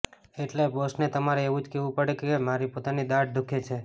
એટલે બોસને તમારે એવું જ કહેવું પડે કે મારી પોતાની દાઢ દુઃખે છે